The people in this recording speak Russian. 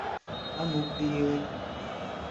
ануфриевой